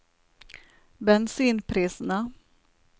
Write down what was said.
bensinprisene